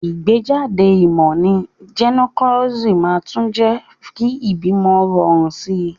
Ìgbéjáde ìmò ní gynecology màá tún jé kí ìbímo rorùn sí